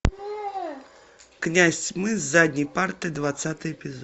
князь тьмы с задней парты двадцатый эпизод